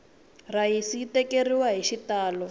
rhayisi yi tleketleriwele hi xitalo